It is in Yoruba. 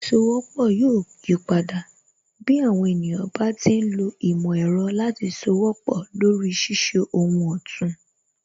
Ìsowọ́pọ̀ yóò yipadà, bí àwọn ènìyàn bá ti ń lo ìmò ẹ̀rọ láti sowọ́pọ̀ lori ṣíṣe ohun òtún